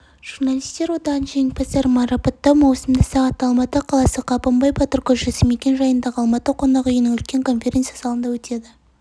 журналистер одағының жеңімпаздарын марапаттау маусымда сағатта алматы қаласы қабанбай батыр көшесі мекен жайындағы алматы қонақ үйінің үлкен конференц-залында өтеді